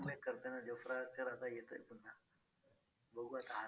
Jofra Archer आता येतोय पुन्हा बघू आता हा season